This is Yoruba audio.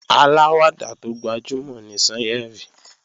Aláwàdà tó gbajúmò ni Sányẹ̀rì